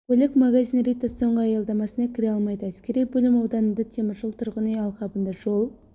көлік магазин рита соңғы аялдамасына кіре алмайды әскери бөлім ауданында теміржол тұрғын үй алқабында жол